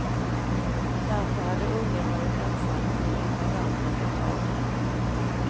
Därför hade ungen varit ensam i lilla dammen ett tag.